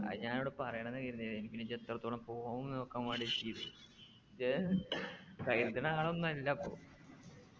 അത് ഞാനിവിടെ പറയണംന്ന് കരുതിന് എനിക്ക് പിന്നെ just എടുത്തോളം പോവും ന്നു നോക്കാൻ വേണ്ടി കരുത്ണ ആളൊന്നും അല്ലപ്പോ